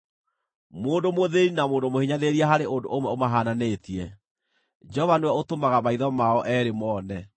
Mũndũ mũthĩĩni na mũndũ mũhinyanĩrĩria harĩ ũndũ ũmwe ũmahaananĩtie: Jehova nĩwe ũtũmaga maitho mao eerĩ moone.